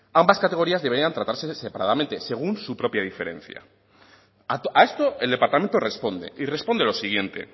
ambas categorías deberían de tratarse separadamente según su propia diferencia a esto el departamento responde y responde lo siguiente